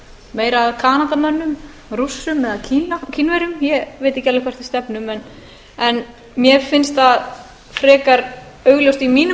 meira að kanadamönnum rússum eða kínverjum ég veit ekki alveg hvert við stefnum en mér finnst það frekar augljóst í mínum